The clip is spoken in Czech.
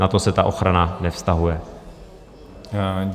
Na to se ta ochrana nevztahuje.